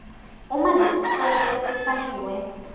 uma lesicelo lesifakiwe